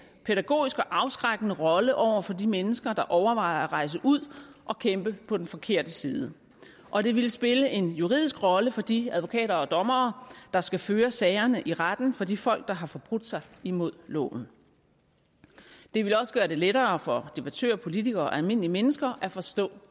pædagogisk og afskrækkende rolle over for de mennesker der overvejer at rejse ud og kæmpe på den forkerte side og det ville spille en juridisk rolle for de advokater og dommere der skal føre sagerne i retten for de folk der har forbrudt sig imod loven det ville også gøre det lettere for debattører og politikere og almindelige mennesker at forstå